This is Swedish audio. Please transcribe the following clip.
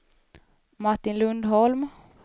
Martin Lundholm